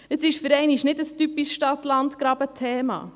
Es ist für einmal nicht ein typisches Stadt-Land-GrabenThema.